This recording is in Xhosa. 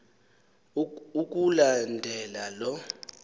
ukula ndela lo